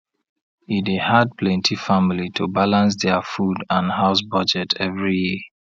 e dey hard plenty family to balance dia food and house budget every year